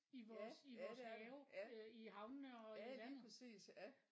Ja ja det er der ja ja lige præcis ja